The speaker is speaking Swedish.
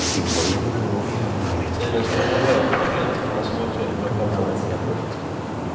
Tiden springer iväg för politikerna som utreder våra pensioner.